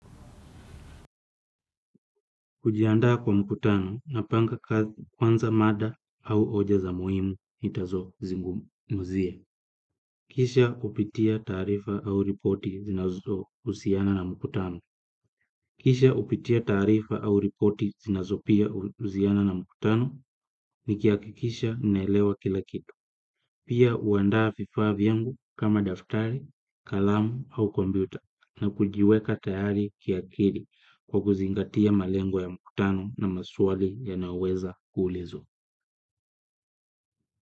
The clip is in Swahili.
Kujiandaa kwa mkutano napanga kwanza mada au oja za muhimu nitazo zingumu zia. Kisha upitia tarifa au ripoti zinazouziana na mkutano. Kisha upitia tarifa au ripoti zinazo pia uziana na mkutano ni kiakikisha naelewa kila kitu. Pia uandaa fifa vyangu kama daftari, kalamu au kombiuta na kujiweka tayari kiakiri kwa kuzingatia malengo ya mkutano na maswali yanaweza kuulizo.